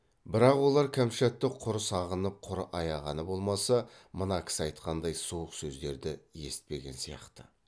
бірақ олар кәмшатты құр сағынып құр аяғаны болмаса мына кісі айтқандай суық сөздерді есітпеген сияқты